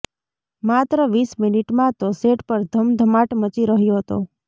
માત્ર વીસ મિનિટમાં તો સેટ પર ધમધમાટ મચી રહ્યો હતો